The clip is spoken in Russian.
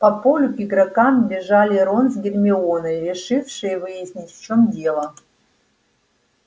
по полю к игрокам бежали рон с гермионой решившие выяснить в чем дело